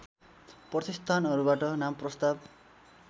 प्रतिष्ठानहरूबाट नाम प्रस्ताव